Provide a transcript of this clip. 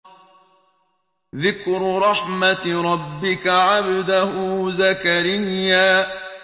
ذِكْرُ رَحْمَتِ رَبِّكَ عَبْدَهُ زَكَرِيَّا